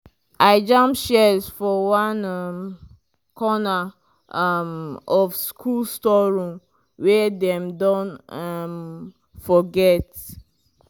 i jam shears for one um corner um of school storeroom wey dem don um forget.